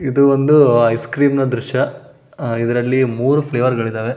ಇದು ಒಂದು ice cream ನ ದ್ರಶ್ಯ ಐದರಲ್ಲಿ ಮೂರೂ ಫ್ಲೇವರ್ ಗಳು ಇದ್ದವೇ.